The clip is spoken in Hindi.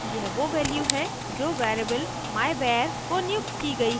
यह वो value है जो variable myvar को नियुक्त की गयी है